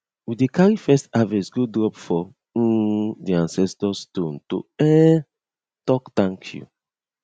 we dey carry first harvest go drop for um di ancestor stone to um talk thank you